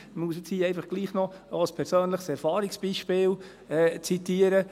Ich muss jetzt hier einfach doch noch ein persönliches Erfahrungsbeispiel zitieren.